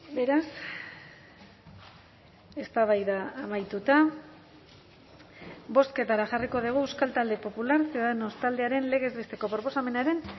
beraz eztabaida amaituta bozketara jarriko dugu euskal talde popular ciudadanos taldearen legez besteko proposamenaren